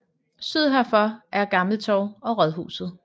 Syd herfor er Gammel Torv og rådhuset